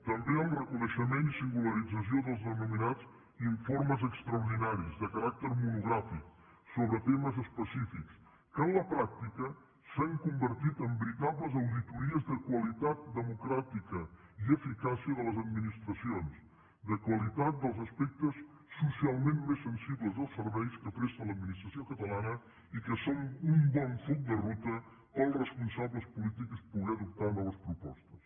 també el reconeixement i singularització dels denominats informes extraordinaris de caràcter monogràfic sobre temes específics que en la pràctica s’han convertit en veritables auditories de qualitat democràtica i eficàcia de les administracions de qualitat dels aspectes socialment més sensibles dels serveis que presta l’administració catalana i que són un bon full de ruta per als responsables polítics poder adoptar noves propostes